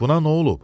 Buna nə olub?